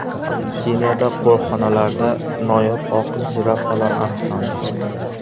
Keniyada qo‘riqxonalarida noyob oq jirafalar aniqlandi .